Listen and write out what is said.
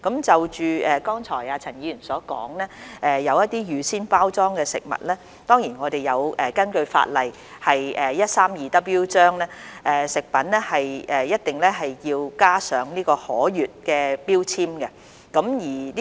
就陳議員剛才所說的一些預先包裝食品，根據香港法例第 132W 章，食品一定要加上可閱標籤。